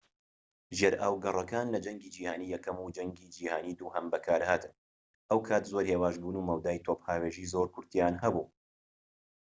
ژێرئاوگەڕەکان لە جەنگی جیهانی یەکەم و جەنگی جیهانی دووەم بەکارهاتن ئەو کات زۆر هێواش بوون و مەودای تۆپهاوێژی زۆر کورتیان هەبوو